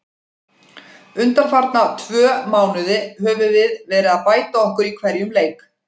Undanfarna tvö mánuði höfum við verið að bæta okkur í hverjum leik.